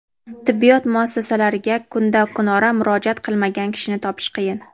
tibbiyot muassasalariga kunda-kunora murojaat qilmagan kishini topish qiyin.